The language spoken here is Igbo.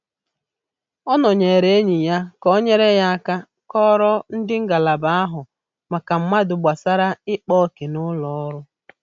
Ọ nọnyere enyi ya ka ọ nyere aka kọọrọ ndị ngalaba na-ahụ maka mmadụ gbasara ikpa òkè n'ụlọ ọrụ